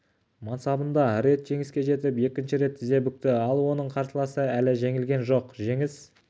мансабында рет жеңіске жетіп екінші рет тізе бүкті ал оның қарсыласы әлі жеңілген жоқ жеңіс